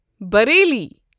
Bareilly